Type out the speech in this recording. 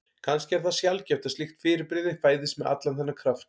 Kannski er það sjaldgæft að slíkt fyrirbrigði fæðist með allan þennan kraft.